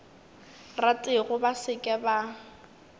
ratego ba se ke ba